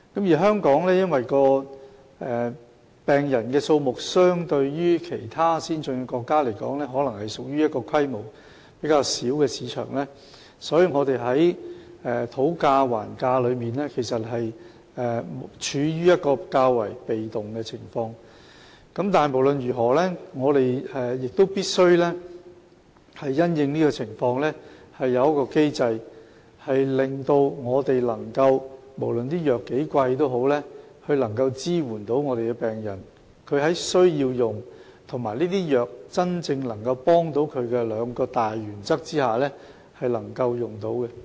就病人的數目而言，與其他先進國家相比，香港是一個規模較小的市場，所以在討價還價的過程中，我們處於較為被動的位置，但不管怎樣，我們亦必須因應情況設立機制，務求不論藥物有多昂貴，也能支援病人，讓病人在需要服用藥物及藥物對他們有真正幫助的這兩項大原則下，可以使用該等藥物。